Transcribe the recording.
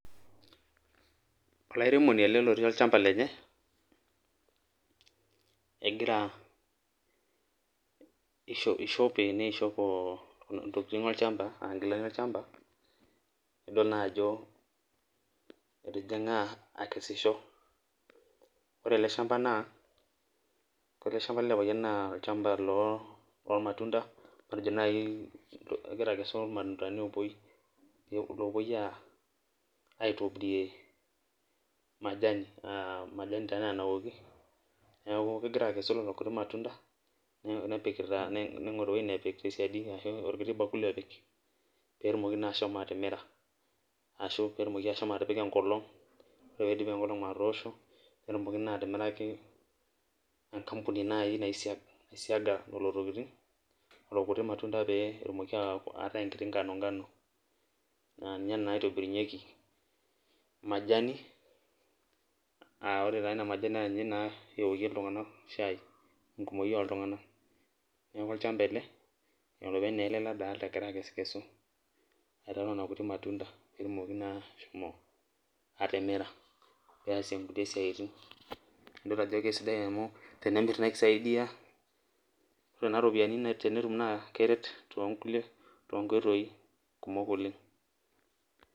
Olairemoni ele lotii olchamba lenye , egira, ishope , neishop ntokitin olchamba ,aa nkilani olchamba, nidol naa ajo etijinga akesisho. Ore ele shamba naa, ore ele shamba lele payian naa olchmaba loo, lormatunda matejo nai egira akesu irmatunda lopuoi, lopuoi aa aitobirie majani aa majani taa ena naoki , niaku kegira akesu lelo kuti matunda nepikita, ningoru ewuei nepik tesiadi ashu orkiti bakuli opik petumoki naa ashomo atimira ashu petumoki ashomo atipika enkolong . Ore pidip enkolong atoosho netumoki naa atimiraki enkampuni naji naisiga lelo tokitin lelo kuti matunda pee etumoki a ataa enkiti ngano ngano naa ninye naa itobirunyieki majani aa ore taa ina majani naa ninye naa oshi eokie iltunganak shai enkumoi oltunganak. Niaku olchamba ele , olopeny naa ele nadolta egira akesu , aitau nena kuti matunda peetumoki naa ashomo atimira , peasie nkulie siatin , nidol ajo kisidai amu tenemir naa kisaidia ore nena ropiyiani tenetum naa keret toonkulie, toonkoitoi kumok oleng.